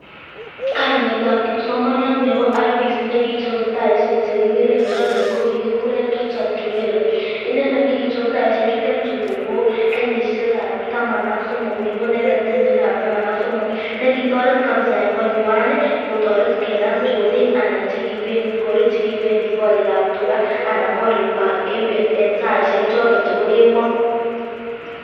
Kainetab kipsomaniat nebo RVIST nekichobe taishek chekikeren chorik ko kikikuren Richard Urere, inendet nekichob taishek chutet chubo kenyishekab taman ak somok kokibo inendet kenyishekab taman ak somok nekitoret kabisaa en konywan kotoret kenam chorik anan chekibendi korikab tukaa anan korikwak en beet en saishek choton chebo kemoo.